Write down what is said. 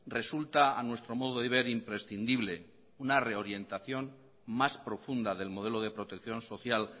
resulta a nuestro modo de ver imprescindible una reorientación más profunda del modelo de protección social